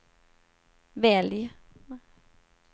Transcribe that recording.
välj